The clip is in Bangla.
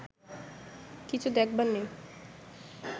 কিছু দেখবার নেই